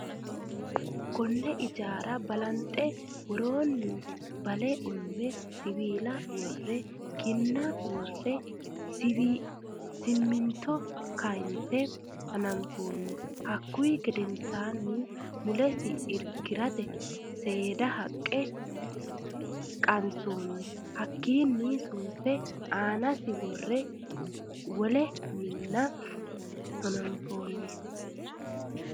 konne ijaara balanxe woroni. bale ume. siwila wore .kinna wore. siminto karsinse hananfon. haku gedensabi muulesi irkisate seedana haqe qansoni. hakini sunfe annasini wole minne haananfoni.